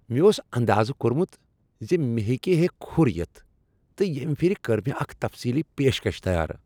مےٚ اوس اندازہ کوٚرمت ز مےٚ ہیکہ ہے کھُر یِتھ تہ ییٚمہ پھرِ کٔر مےٚ اکھ تفصیلی پیشکش تیار۔